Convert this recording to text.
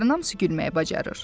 Onların hamısı gülməyi bacarır.